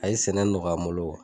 A ye sɛnɛ nɔgɔya n bolo